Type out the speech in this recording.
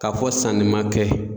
Ka fɔ sanni ma kɛ.